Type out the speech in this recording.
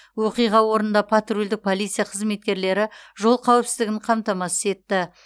оқиға орнында патрульдік полиция қызметкерлері жол қауіпсіздігін қамтамасыз етті